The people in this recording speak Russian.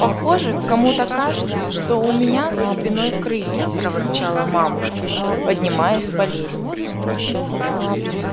похоже кому-то кажется что у меня за спиной крылья проворчала мамушка поднимаясь по лестнице